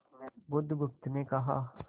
बुधगुप्त ने कहा